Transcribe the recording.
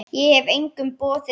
Ég hef engum boðið heim.